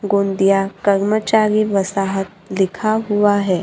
गोंदिया कर्मचारी वसाहत लिखा हुआ है।